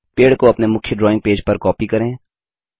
पेड़ को अपने मुख्य ड्राइंग पेज पर कॉपी करें